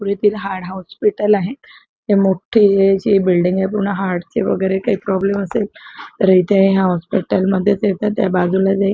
पुरेतील हाड हॉस्पिटल आहे ही मोठे अशी बिल्डिंग आहे पूर्ण हाडची वगैरे काही प्रॉब्लेम असेल तर इथे या हॉस्पिटल मध्ये येतात त्या बाजूलाच जा --